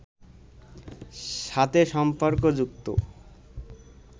সাথে সম্পর্ক যুক্ত